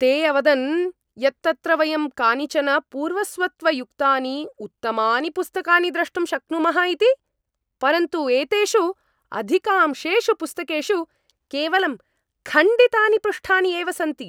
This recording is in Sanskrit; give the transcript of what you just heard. ते अवदन् यत् अत्र वयं कानिचन पूर्वस्वत्वयुक्तानि उत्तमानि पुस्तकानि द्रष्टुं शक्नुमः इति, परन्तु एतेषु अधिकांशेषु पुस्तकेषु केवलं खण्डितानि पृष्ठानि एव सन्ति।